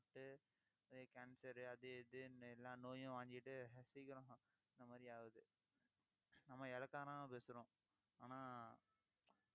cancer அது இதுன்னு எல்லா நோயும் வாங்கிட்டு, சீக்கிரம் இந்த மாதிரி ஆகுது. நம்ம இளக்காரமா பேசுறோம். ஆனா